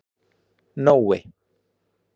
Nói